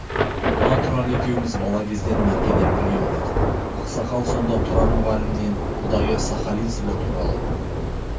мына тұрар екеуміз бала кезден меркеде бірге оқыдық ақсақал сонда тұрар мұғалімнен ұдайы сахалин сібір туралы